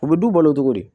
U bɛ du balo cogo di